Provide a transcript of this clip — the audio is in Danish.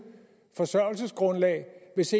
forsørgelsesgrundlag hvis